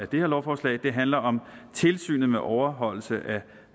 det her lovforslag handler om tilsynet med overholdelse